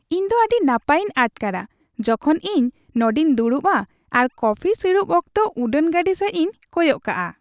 ᱤᱧ ᱫᱚ ᱟᱹᱰᱤ ᱱᱟᱯᱟᱭᱤᱧ ᱟᱴᱠᱟᱨᱼᱟ ᱡᱚᱠᱷᱚᱱ ᱤᱧ ᱱᱚᱸᱰᱮᱧ ᱫᱩᱲᱩᱵᱼᱟ ᱟᱨ ᱠᱚᱯᱷᱤ ᱥᱤᱲᱩᱵ ᱚᱠᱛᱚ ᱩᱰᱟᱹᱱ ᱜᱟᱹᱰᱤ ᱥᱮᱡᱽᱤᱧ ᱠᱚᱭᱚᱜ ᱠᱟᱜᱼᱟ ᱾